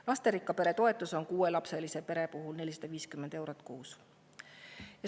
Lasterikka pere toetus on kuuelapselise pere puhul 450 eurot kuus.